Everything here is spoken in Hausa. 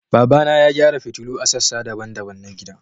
Babana ya gyara fitulu a sassa daban-daban na gidan